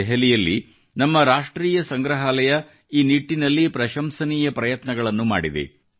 ದೆಹಲಿಯಲ್ಲಿ ನಮ್ಮ ರಾಷ್ಟ್ರೀಯ ಸಂಗ್ರಹಾಲಯ ಈ ನಿಟ್ಟಿನಲ್ಲಿ ಪ್ರಶಂಸನೀಯ ಪ್ರಯತ್ನಗಳನ್ನು ಮಾಡಿದೆ